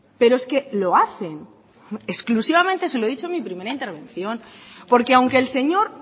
pero es que lo hacen exclusivamente se lo he dicho en mi primera intervención porque aunque el señor